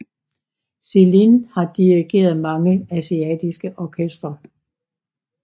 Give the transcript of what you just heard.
Xilin har dirigeret mange asiatiske orkestre